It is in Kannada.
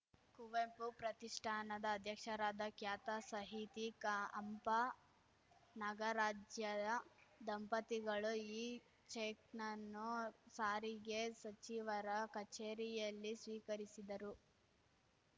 ಕುವೆಂಪು ಪ್ರತಿಷ್ಠಾನದ ಅಧ್ಯಕ್ಷರಾದ ಖ್ಯಾತ ಸಾಹಿತಿ ಕಾ ಹಂಪಾ ನಾಗರಾಜ್ಯಾಯ್ ದಂಪತಿಗಳು ಈ ಚೆಕ್‌ ನನ್ನು ಸಾರಿಗೆ ಸಚಿವರ ಕಚೇರಿಯಲ್ಲಿ ಸ್ವೀಕರಿಸಿದರು